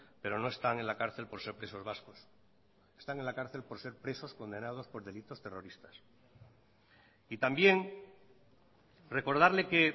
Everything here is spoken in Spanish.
pero no están en la cárcel por ser presos vascos están en la cárcel por ser presos condenados por delitos terroristas y también recordarle que